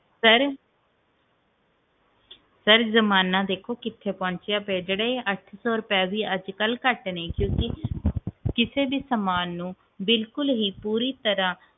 sir ਜ਼ਮਾਨਾ ਦੇਖੋ ਕਿੰਨਾ ਪਹੁੰਚਿਆ ਪੀਯਾ ਇਹ ਜਿਹੜਾ ਅੱਠ ਸੌ ਰੁਪਇਆ ਵੀ ਬਹੁਤ ਘਟ ਨੇ ਕਿਉਕਿ ਕਿਸੇ ਵੀ ਸਾਮਾਨ ਨੂੰ ਬਿਲਕੁਲ ਹੀ ਪੂਰੀ ਤਰ੍ਹਾਂ